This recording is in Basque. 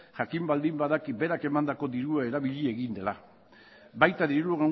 jakin baldin badaki berak emandako dirua erabili egin dela baita diru